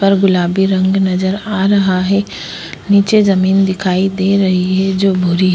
पर गुलाबी रंग नजर आ रहा है नीचे जमीन दिखाई दे रही है जो भूरी --